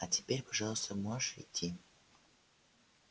а теперь пожалуйста можешь идти